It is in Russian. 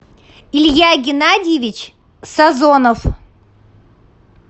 илья геннадьевич сазонов